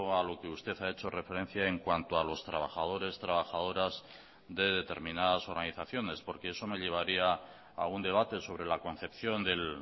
a lo que usted ha hecho referencia en cuanto a los trabajadores trabajadoras de determinadas organizaciones porque eso me llevaría a un debate sobre la concepción del